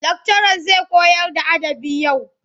Lakcaran zai koyarda adabı yau.